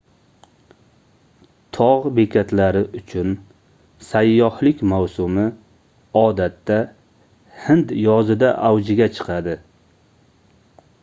togʻ bekatlari uchun sayyohlik mavsumi odatda hind yozida avjiga chiqadi